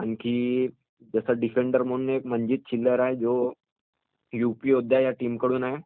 आणखी त्यांचा डिफेंडर मनजीत चिल्लर म्हणून एक डिफेंडर आहे जो युपी योद्धा या टीम कडून आहे.